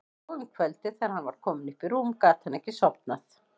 Og um kvöldið þegar hann var kominn upp í rúm gat hann ekki sofnað.